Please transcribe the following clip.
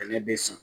Bɛnɛ be san